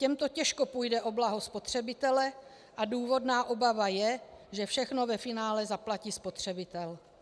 Těmto těžko půjde o blaho spotřebitele a důvodná obava je, že všechno ve finále zaplatí spotřebitel.